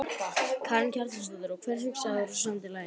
Karen Kjartansdóttir: Og hvað hugsaðir þú þegar þú samdir lagið?